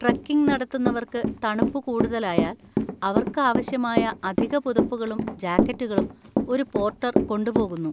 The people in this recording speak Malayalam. ട്രെക്കിംഗ് നടത്തുന്നവർക്ക് തണുപ്പ് കൂടുതലായാൽ അവർക്ക് ആവശ്യമായ അധിക പുതപ്പുകളും ജാക്കറ്റുകളും ഒരു പോർട്ടർ കൊണ്ടുപോകുന്നു.